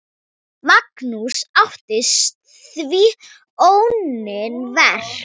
Magnús átti því óunnin verk.